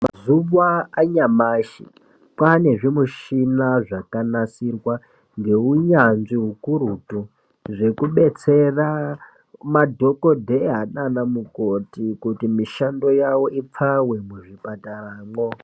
Mazuwa anyamashi kwane zvimichina zvakanasirwa ngeunyanzvi ukurutu zvekubetsera madhokodheya naanamukoti kuti mishando yavo ipfawe muzvipataramwo.